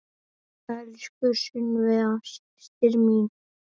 Elsku Sunneva systir mín.